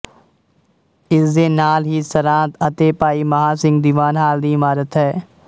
ਇਸ ਦੇ ਨਾਲ ਹੀ ਸਰਾਂ ਅਤੇ ਭਾਈ ਮਹਾਂ ਸਿੰਘ ਦੀਵਾਨ ਹਾਲ ਦੀ ਇਮਾਰਤ ਹੈ